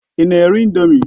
Ị na-eri ị̀ndómị́?